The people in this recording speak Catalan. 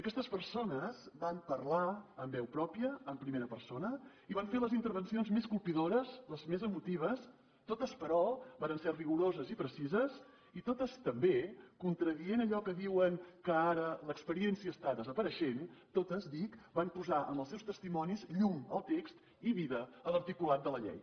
aquestes persones van parlar amb veu pròpia en primera persona i van fer les intervencions més colpidores les més emotives totes però varen ser rigoroses i precises i totes també contradient allò que diuen que ara l’experiència està desapareixent totes dic van posar amb els seus testimonis llum al text i vida a l’articulat de la llei